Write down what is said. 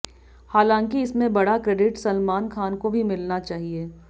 हालांकि इसमें बड़ा क्रेडिट सलमान खान को भी मिलना चाहिए